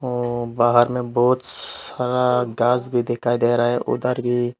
औ बाहर में बहुत सारा घास भी दिखाई दे रहा है उधर भी--